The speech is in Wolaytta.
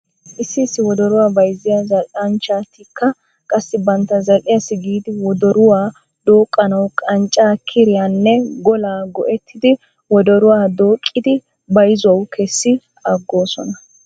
Issi issi wodoruwaa bayzziyaa zal'anchchtikka qassi bantta zal'iyaassi giidi wodoruwaa dooqqanaw qanccaa kiriyaanne golaa go'ettidi wodoruwaa dooqqidi bayzuwaw kessi agoosona.